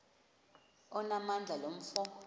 onamandla lo mfo